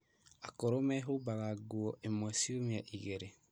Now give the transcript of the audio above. Akũrũ mehumbaga nguo ĩmwe ciumia igĩrĩ